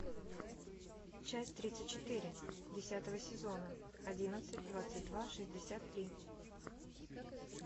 часть тридцать четыре десятого сезона одиннадцать двадцать два шестьдесят три